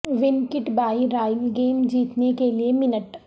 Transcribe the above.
one cut by royal game جیتنے کے لئے منٹ